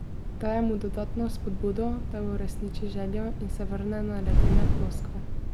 Daje mu dodatno spodbudo, da uresniči željo in se vrne na ledene ploskve.